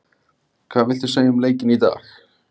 Hvað viltu segja um leikinn í dag?